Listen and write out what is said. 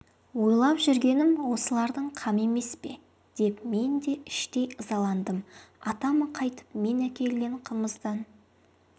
ойлап жүргенім осылардың қамы емес пе деп мен де іштей ызаландым атам қайтіп мен әкелген қымыздан